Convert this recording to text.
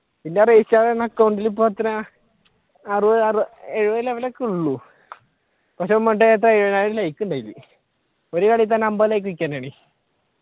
പിന്നെ reach ആകുന്ന അക്കൗണ്ടിൽ ഇപ്പൊ എത്രയാ അറുപത് എഴുപത് level ഒക്കെ ഒള്ളു പക്ഷെ എഴുപതിനായിരം like ഉണ്ട് അതിൽ ഒരു കളിയിൽ തന്നെ അൻപത് like വിൽക്കാനാണ്